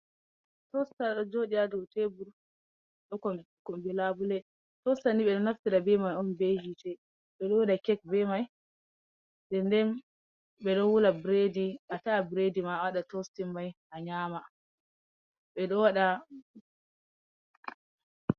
Tosta do jodi ha dotebur do kombi labbule, tostani be do nafti da be mai on be hitte be do wada kek be mai, denden be dowula bredi, a ta’a bredi ma a wada tostin mai a nyama be ɗowada.